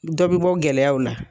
Dɔ bɛ bɔ gɛlɛyaw la.